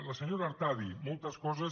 la senyora artadi moltes coses